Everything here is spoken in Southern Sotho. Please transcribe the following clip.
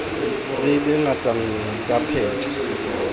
re be ngatanngwe ke pheto